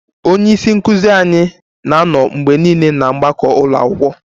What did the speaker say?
Onye isi nkụzi anyị na-anọ mgbe niile na mgbakọ ụlọ akwụkwọ